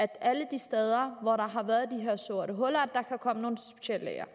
alle de steder hvor der har været de her sorte huller kan komme nogle speciallæger